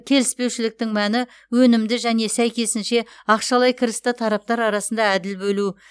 келіспеушіліктің мәні өнімді және сәйкесінше ақшалай кірісті тараптар арасында әділ бөлу